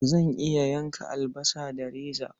Zan iya yanka albasa da reza.